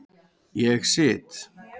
Ég sit.